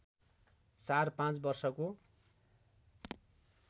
चार पाँच वर्षको